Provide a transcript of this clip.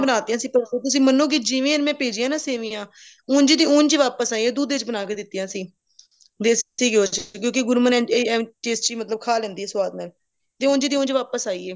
ਬਨਾਤਿਆ ਸੀ ਤੁਸੀਂ ਮੰਨੋਗੇ ਜਿਵੇਂ ਮੈਂ ਭੇਜਿਆ ਨੇ ਨਾ ਸੇਮੀਆਂ ਉਂਝ ਤੇ ਉੰਝ ਵਾਪਿਸ ਆਇਆ ਦੁੱਧ ਵਿੱਚ ਬਣਾ ਕੇ ਦਿਤੀਆਂ ਸੀ ਦੇਸੀ ਘਿਓ ਚ ਕਿਉਂਕਿ tasty ਮਤਲਬ ਖਾ ਲੈਂਦੀ ਹੈ ਸਵਾਦ ਨਾਲ ਜੋ ਉੰਝ ਦੀ ਉੰਝ ਵਾਪਿਸ ਆਈ ਹੈ